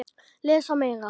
Lesa Meira